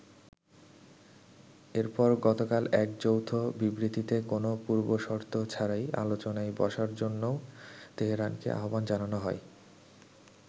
এরপর গতকাল এক যৌথ বিবৃতিতে কোনা পূর্বশর্ত ছাড়াই আলোচনায় বসার জন্যও তেহরানকে আহ্বান জানানো হয়।